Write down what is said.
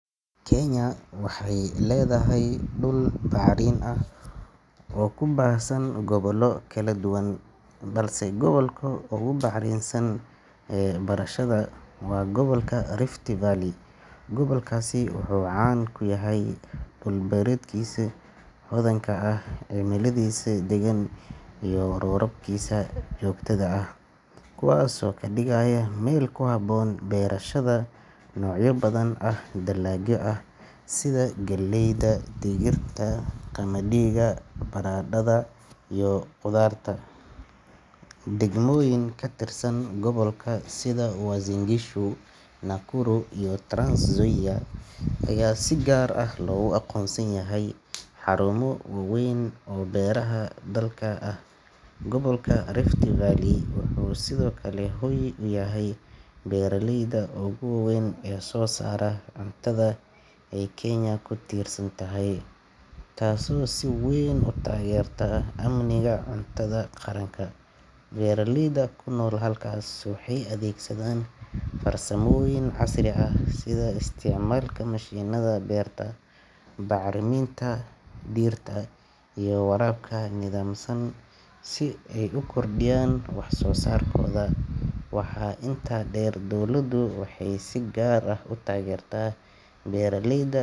Kenya waxay leedahay dhul bacrin ah oo ku baahsan gobollo kala duwan, balse gobolka ugu bacrinsan ee berashada waa gobolka Rift Valley. Gobolkaasi wuxuu caan ku yahay dhul beereedkiisa hodanka ah, cimiladiisa deggan, iyo roobabkiisa joogtada ah, kuwaasoo ka dhigaya meel ku habboon beerashada noocyo badan oo dalagyo ah sida galleyda, digirta, qamadiga, baradhada, iyo khudradda. Degmooyin ka tirsan gobolka sida Uasin Gishu, Nakuru, iyo Trans Nzoia ayaa si gaar ah loogu aqoonsan yahay xarumo waaweyn oo beeraha dalka ah. Gobolka Rift Valley wuxuu sidoo kale hoy u yahay beeraleyda ugu waaweyn ee soo saara cuntada ay Kenya ku tiirsan tahay, taasoo si weyn u taageerta amniga cuntada qaranka. Beeraleyda ku nool halkaas waxay adeegsadaan farsamooyin casri ah sida isticmaalka mashiinnada beerta, bacriminta dhirta, iyo waraabka nidaamsan si ay u kordhiyaan wax soo saarkooda. Waxaa intaa dheer, dowladdu waxay si gaar ah u taageertaa beeraleyda.